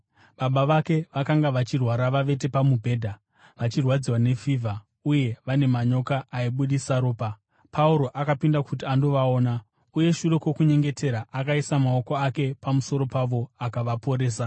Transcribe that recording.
Baba vake vakanga vachirwara vavete pamubhedha, vachirwadziwa nefivha uye vane manyoka aibudisa ropa. Pauro akapinda kuti andovaona, uye shure kwokunyengetera, akaisa maoko ake pamusoro pavo akavaporesa.